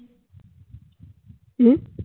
কি?